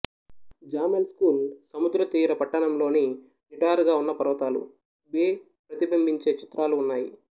XAML school సముద్రతీర పట్టణంలోని నిటారుగా ఉన్న పర్వతాలు బే ప్రతిబింబించే చిత్రాలు ఉన్నాయి